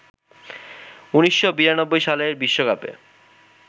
১৯৯২ সালের বিশ্বকাপে